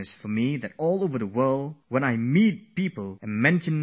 Everybody I meet, no matter for how short a time, has something to say about Yoga